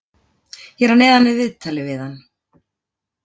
Hér að neðan er viðtalið við hann.